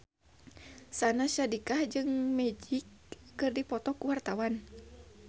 Syahnaz Sadiqah jeung Magic keur dipoto ku wartawan